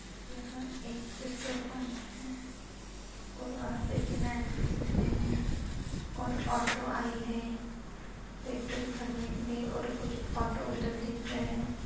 यहां एक petrol pump है और वहां पे तीन आदमी दिख रहे है और ऑटो आई है पेट्रोल भरने के लिए और कुछ ऑटो उधर दिख रहे है।